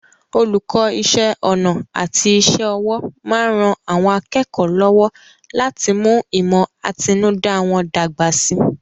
Olùkọ́ Iṣẹ́ ọnà àti iṣẹ́ ọwọ́ máa ń ran àwọn akẹ́kọ̀ọ́ lọ́wọ́ láti mú ìmọ̀ àtinúdá wọn dàgbà síi